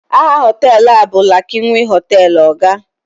aha họtelu a bụ lakanwi hotel, oga